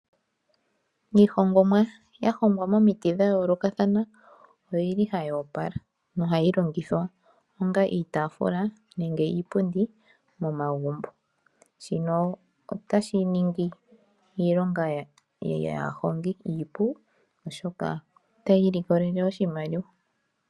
Miihongomwa ya hongwa momiti dha yoolokathana otili hayi opala nohayi longithwa onga iitafula nenge iipundi momagumbo. Shino otashi ningi iilonga yaahongi iipu, oshoka otaya ilikolele oshimaliwa.